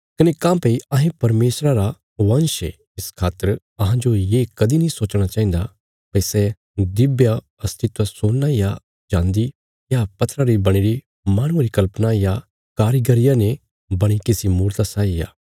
कने काँह्भई अहें परमेशरा रा वंश ये इस खातर अहांजो ये कदीं नीं सोचणा चाहिन्दा भई सै दिव्य अस्तित्व सोना या चान्दी या पत्थरा री बणीरी माहणुये री कल्पना या कारीगरिया ने बणी किसी मूरता साई आ